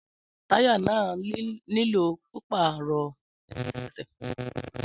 Táyà náà nílò pípáàrò lẹ́sẹ̀kẹsẹ̀